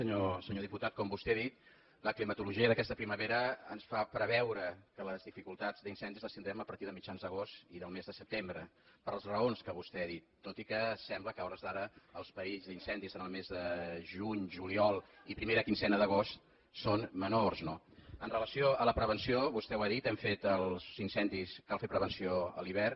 senyor diputat com vostè ha dit la climatolo·gia d’aquesta primavera ens fa preveure que les dificul·tats d’incendis les tindrem a partir de mitjans d’agost i del mes de setembre per les raons que vostè ha dit tot i que sembla que a hores d’ara els perills d’incendi el mes de juny juliol i primera quinzena d’agost són menors no amb relació a la prevenció vostè ho ha dit per als in·cendis cal fer prevenció a l’hivern